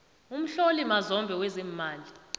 umhloli mazombe wezeemali